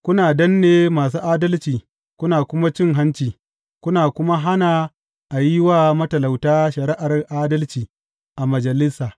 Kuna danne masu adalci kuna kuma cin hanci kuna kuma hana a yi wa matalauta shari’ar adalci a majalisa.